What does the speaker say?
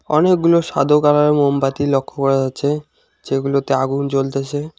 অনেকগুলো সাদো কালারের মোমবাতি লক্ষ্য করা যাচ্ছে যেগুলোতে আগুন জ্বলতেছে।